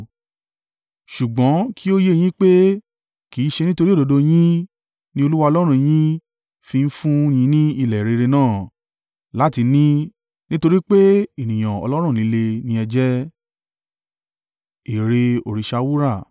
Ṣùgbọ́n kí ó yé yín pé kì í ṣe nítorí òdodo yín ni Olúwa Ọlọ́run yín fi ń fún un yín ní ilẹ̀ rere náà, láti ní, nítorí pé ènìyàn ọlọ́rùn líle ni ẹ jẹ́.